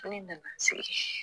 Ne nana n sigi.